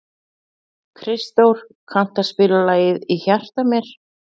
Kristdór, kanntu að spila lagið „Í hjarta mér“?